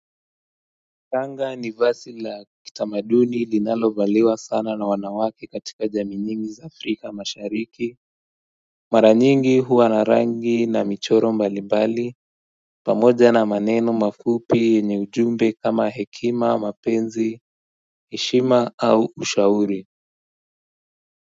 Kanga ni vasi la kitamaduni linalo valiwa sana na wanawake katika jamiinyingi za afrika mashariki Maranyingi huwa narangi na michoro mbalimbali pamoja na maneno mafupi yenye ujumbe kama hekima mapenzi heshima au ushauri.